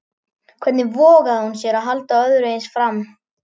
Hvernig vogaði hún sér að halda öðru eins fram?